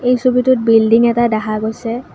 এই ছবিটোত বিল্ডিং এটা দেখা গৈছে।